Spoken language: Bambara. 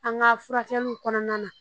An ka furakɛliw kɔnɔna na